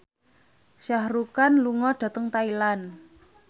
Shah Rukh Khan lunga dhateng Thailand